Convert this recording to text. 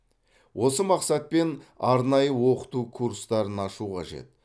осы мақсатпен арнайы оқыту курстарын ашу қажет